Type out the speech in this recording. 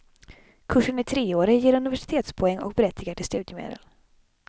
Kursen är treårig, ger universitetspoäng och berättigar till studiemedel.